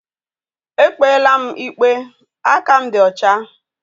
Ekpela m ikpe! Aka m dị ọcha